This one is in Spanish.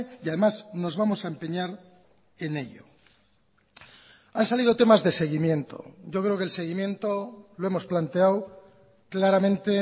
y además nos vamos a empeñar en ello han salido temas de seguimiento yo creo que el seguimiento lo hemos planteado claramente